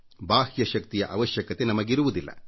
ಬಾಹ್ಯ ಶಕ್ತಿಯ ಅವಶ್ಯಕತೆ ನಮಗಿರುವುದಿಲ್ಲ